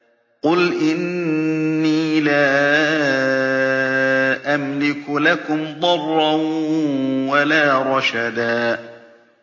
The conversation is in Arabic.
قُلْ إِنِّي لَا أَمْلِكُ لَكُمْ ضَرًّا وَلَا رَشَدًا